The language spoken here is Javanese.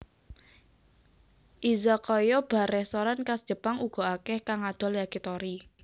Izakaya bar restoran khas Jepang uga akèh kang ngadol Yakitori